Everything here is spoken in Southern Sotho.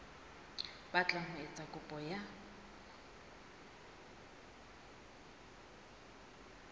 batlang ho etsa kopo ya